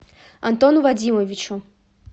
антону вадимовичу